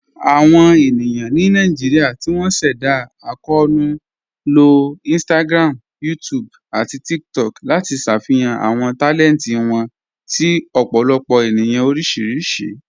Awọn ènìyàn ni Naijíríà tí wọn sẹ̀dá akọọnu ló Instagram, YouTube, àti TikTok láti ṣáfíhàn àwọn talẹntì wọn sí ọ̀pọ̀lọpọ̀ ènìyàn oríṣiríṣì.